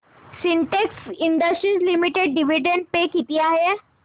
Sintex Industries Limited dividend pay किती आहे